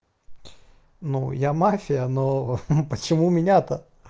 ну я мафия но почему меня-то